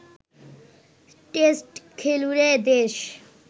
test খেলুড়ে দেশ